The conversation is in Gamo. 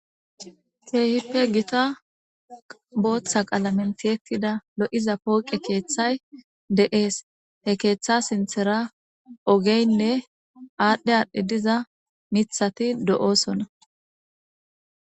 Keehippe gita booththa qalamentiyetida lo7iza pooqe keeththay de7ees he keeththa sinthera ogeynne aadhdhe aadhdhi diza mithati do'oosona.